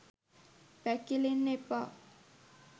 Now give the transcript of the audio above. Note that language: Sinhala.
පැකිලෙන්න එපා.